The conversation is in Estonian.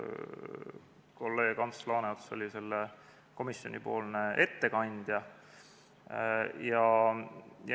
Kolleeg Ants Laaneots oli komisjoni ettekandja.